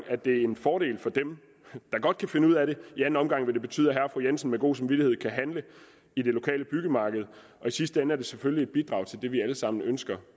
en fordel for dem der godt kan finde ud af det i anden omgang vil det betyde at herre og fru jensen med god samvittighed kan handle i det lokale byggemarked og i sidste ende er det selvfølgelig et bidrag til det vi alle sammen ønsker